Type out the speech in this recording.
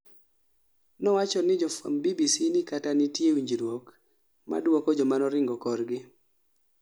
nowachoni jofwamb BBC ni kata nitie winjruok ma duoko jomanoringo korgi korgi